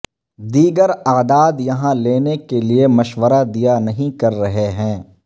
دیگر اعداد یہاں لینے کے لئے مشورہ دیا نہیں کر رہے ہیں